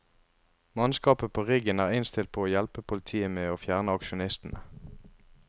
Mannskapet på riggen er innstilt på å hjelpe politiet med å fjerne aksjonistene.